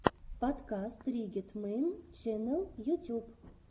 подкаст риггет мэйн ченнэл ютюб